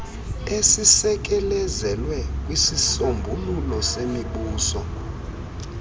esisekelezelwe kwisisombululo semibuso